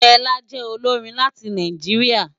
Fela jè ólórin láti Náijiriá